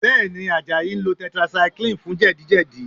Bẹ́ẹ̀ ni, Àjàyí ń lo tetracycline fún jẹ̀díjẹ̀dí